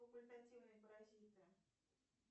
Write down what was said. факультативные паразиты